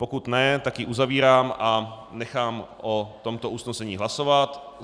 Pokud ne, tak ji uzavírám a nechám o tomto usnesení hlasovat.